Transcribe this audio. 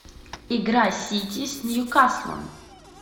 игра сити с ньюкаслом